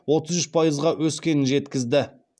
отыз үш пайызға өскенін жеткізді